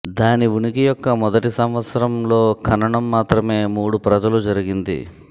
దాని ఉనికి యొక్క మొదటి సంవత్సరం లో ఖననం మాత్రమే మూడు ప్రజలు జరిగింది